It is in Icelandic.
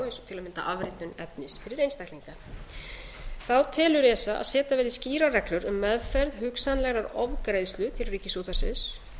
eins og til að mynda afritun efnis fyrir einstaklinga þá telur esa að setja verði skýrar reglur um meðferð hugsanlegrar ofgreiðslu til ríkisútvarpsins